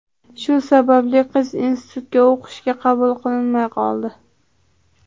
Shu sababli qiz institutga o‘qishga qabul qilinmay qoldi.